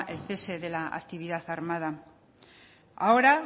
el cese de la actividad armada ahora